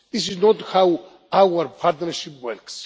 This is not how our partnership works.